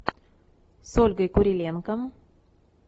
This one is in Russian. с ольгой куриленко